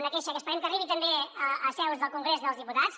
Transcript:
una queixa que esperem que arribi també a seus del congrés dels diputats